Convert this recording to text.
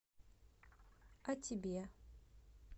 о тебе